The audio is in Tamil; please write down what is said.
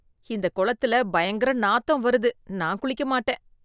இந்த குளத்தில பயங்கர நாத்தம் வருது நான் குளிக்க மாட்டேன்.